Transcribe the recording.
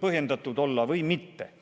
põhjendatud või mitte.